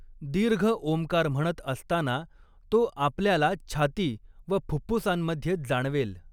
दीर्घ ॐकार म्हणत असताना तो आपल्याला छाती व फुप्फुसांमध्ये जाणवेल.